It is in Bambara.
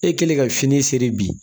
E kɛlen ka fini seri bi